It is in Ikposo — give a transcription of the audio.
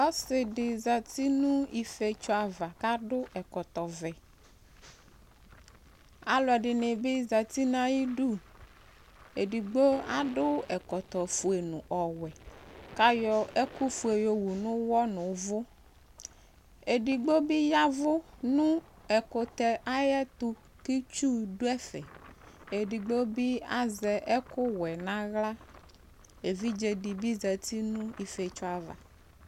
Ɔsɩ dɩ zati nʋ ifietso ava kʋ adʋ ɛkɔtɔvɛ Alʋɛdɩnɩ bɩ zati nʋ ayidu Edigbo adʋ ɛkɔtɔfue nʋ ɔwɛ kʋ ayɔ ɛkʋfue yɔwu nʋ ʋɣɔ nʋ ʋvʋ Edigbo bɩ ya ɛvʋ nʋ ɛkʋtɛ ayɛtʋ kʋ itsu dʋ ɛfɛ Edigbo bɩ azɛ ɛkʋwɛ nʋ aɣla Evidze dɩ bɩ zati nʋ ifietso ava